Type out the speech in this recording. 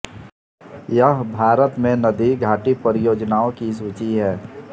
यह भारत में नदी घाटी परियोजनाओं की सूची है